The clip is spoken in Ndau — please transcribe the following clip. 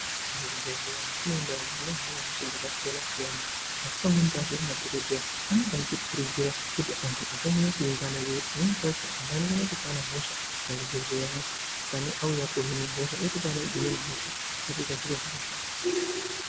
Muzvibhendleya mwatinoenda umu munohinwe hosha dzakasiyana siyana. Asi pamweni pacho madhokodheya anenge achitokurudzira kuti antu asanyanye kuungana. Ngekuti pamweni pacho antu anotokona kutopana hosha muzvibhedhleya mwo auya koohimwe hosha otopana dzimweni hosha zvotoita zviro zvakashata.